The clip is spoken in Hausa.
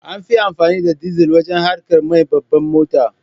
An fi amfani da dizal wajen haƙar mai na babban mota.